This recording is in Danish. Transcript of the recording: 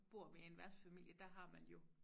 Bor ved en værtsfamilie der har man jo